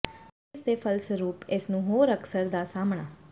ਪਰ ਇਸ ਦੇ ਫਲਸਰੂਪ ਇਸ ਨੂੰ ਹੋਰ ਅਕਸਰ ਦਾ ਸਾਹਮਣਾ